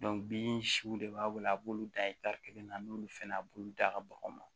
bin siw de b'a bolo a b'olu dan kelen na n'ulu fɛnɛ a b'u da ka baganw na